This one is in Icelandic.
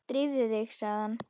Drífðu þig, sagði hann.